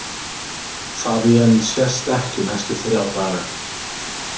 Fabienne sést ekki næstu þrjá daga.